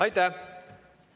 Aitäh!